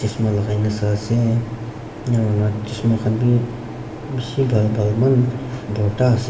chasma lagai ne sai ase enika kuri ne chasma khan bi bishi bal bal eman borta as--